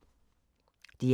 DR1